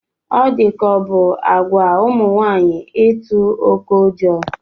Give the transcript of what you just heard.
Ọ di ka ọ bụ àgwà ụmụ nwaanyị ịtụ oké ụjọ